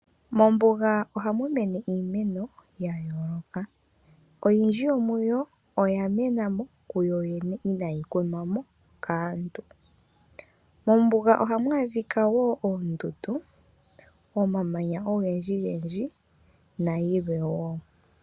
Mombugaa ohamumene iimeno yayooloka, oyindji yomuyo oyamenamo kuyoyene inaayi kunwamo kaantu. Mombuga ohamwaadhika woo oondundu, omamanya ogendjigendji nayilwe woo.